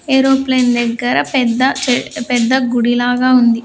Aeroplane దగ్గర పెద్ద పెద్ద గుడి లాగా ఉంది.